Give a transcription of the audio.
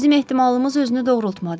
Bizim ehtimalımız özünü doğrultmadı.